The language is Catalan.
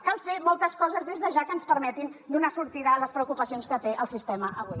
cal fer moltes coses des de ja que ens permetin donar sortida a les preocupacions que té el sistema avui